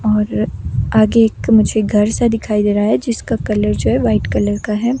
और आगे एक मुझे घर सा दिखाई दे रहा है जिसका कलर जो है वाइट कलर का है।